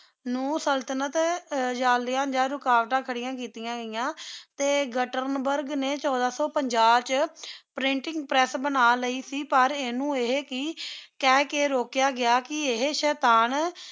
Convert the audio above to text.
ਨੂ ਸਲ੍ਤਨਤ ਰੁਕਾਵਟਾ ਖਾਰਿਯਾਂ ਕਿਤਿਯਾਂ ਗਯਾ ਟੀ ਗਾਤ੍ਤਾਰ੍ਨ੍ਬੁਰਗ ਨੀ ਛੋਡਾ ਸੋ ਪੰਜਾ ਵਿਚ ਪ੍ਰਿੰਟਿੰਗ ਪ੍ਰੇਸ ਬਣਾ ਲਈ ਸੇ ਪਰ ਇਨੁ ਆਹੀ ਕੀ ਕਹ ਕੀ ਰੋਕ੍ਯ ਗਯਾ ਕੀ ਏਹੀ ਸ਼ੇਤਾਨ